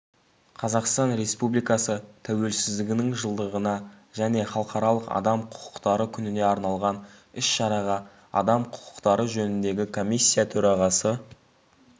қазақстан республикасы тәуелсіздігінің жылдығына және халықаралық адам құқықтары күніне арналған іс-шараға адам құқықтары жөніндегі комиссия төрағасы